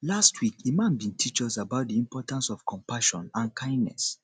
last week imam bin teach us about di importance of compassion and kindness